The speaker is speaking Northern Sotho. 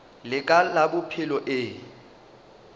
la ka la bophelo e